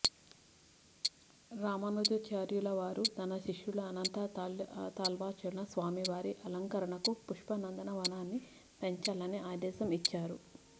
రామానుజాచార్యులవారు తన శిష్యుడు అనంతాళ్వార్ను స్వామి వారి అలంకరణకు పుష్పనందన వనాన్ని పెంచాలని ఆదేశం ఇచ్చారు